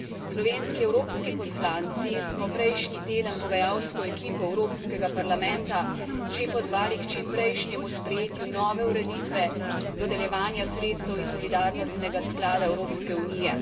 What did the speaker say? Slovenski evropski poslanci smo prejšnji teden pogajalsko ekipo Evropskega parlamenta že pozvali k čim prejšnjemu sprejetju nove ureditve dodeljevanja sredstev iz Solidarnostnega sklada Evropske unije.